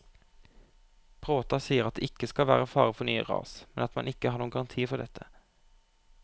Bråta sier at det ikke skal være fare for nye ras, men at man ikke har noen garanti for dette.